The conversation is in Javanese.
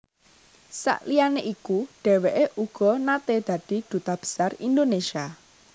Saliyané iku dhèwèké uga naté dadi Duta Besar Indonesia